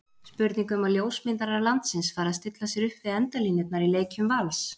Spurning um að ljósmyndarar landsins fari að stilla sér upp við endalínurnar í leikjum Vals?